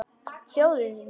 Hjólið mitt!